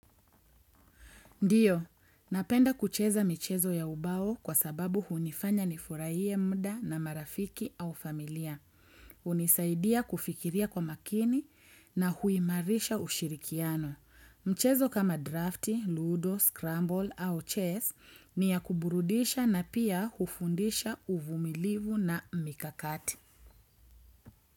Ndiyo, napenda kucheza michezo ya ubao kwa sababu hunifanya nifurahie muda na marafiki au familia. Hunisaidia kufikiria kwa makini na huimarisha ushirikiano. Mchezo kama drafti, ludo, scramble au chess ni ya kuburudisha na pia hufundisha uvumilivu na mikakati.